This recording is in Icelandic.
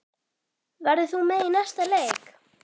Verður þú með í næsta leik?